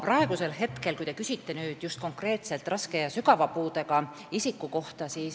Aga te küsisite nüüd konkreetselt raske ja sügava puudega isikute kohta.